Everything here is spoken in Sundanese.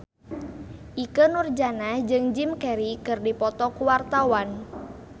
Ikke Nurjanah jeung Jim Carey keur dipoto ku wartawan